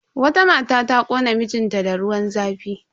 Wata mata ta kona mijin ta da ruwan zafi.